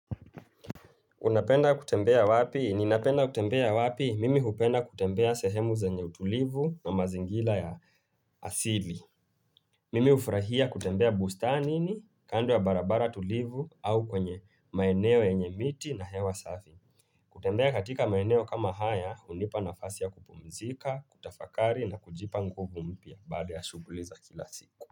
Unapenda kutembea wapi? Ninapenda kutembea wapi? Mimi hupenda kutembea sehemu zenye utulivu na mazingira ya asili. Mimi hufurahia kutembea bustanini, kando ya barabara tulivu, au kwenye maeneo yenye miti na hewa safi. Kutembea katika maeneo kama haya, hunipa nafasi ya kupumzika, kutafakari na kujipa nguvu mpya baada ya shughuli za kila siku.